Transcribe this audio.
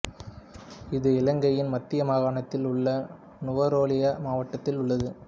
இது இலங்கையின் மத்திய மாகாணத்தில் உள்ள நுவரெலியா மாவட்டத்தில் உள்ளது